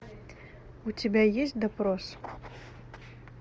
у тебя есть допрос